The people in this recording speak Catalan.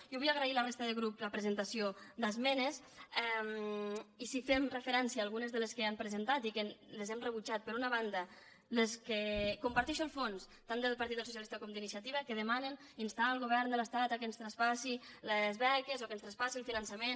jo vull agrair a la resta de grups la presentació d’esme·nes i si fem referència a algunes de les que han pre·sentat i que hem rebutjat per una banda comparteixo el fons tant del partit socialista com d’iniciativa que demanen instar el govern de l’estat que ens traspassi les beques o que ens traspassi el finançament